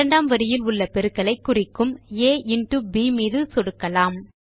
இரண்டாம் வரியில் உள்ள பெருக்கலை குறிக்கும் ஆ இன்டோ ப் மீது சொடுக்கலாம்